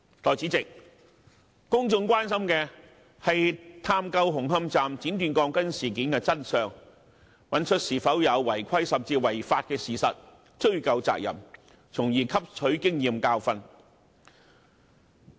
代理主席，公眾關心的是探究紅磡站剪短鋼筋事件的真相，找出有否違規甚至違法的事實，追究責任，從而汲取經驗教訓。